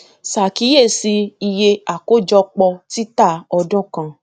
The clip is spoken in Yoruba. ṣàkíyèsí iye àkójọpọ títà ọdún kan